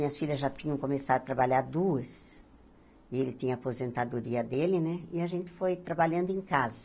Minhas filhas já tinham começado a trabalhar duas, e ele tinha a aposentadoria dele né, e a gente foi trabalhando em casa.